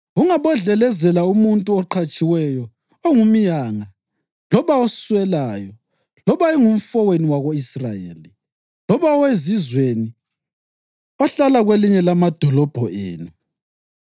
Ungabodlelezela umuntu oqhatshiweyo ongumyanga loba oswelayo, loba engumfowenu wako-Israyeli loba owezizweni ohlala kwelinye lamadolobho enu.